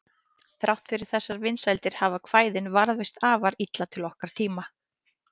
Þrátt fyrir þessar vinsældir hafa kvæðin varðveist afar illa til okkar tíma.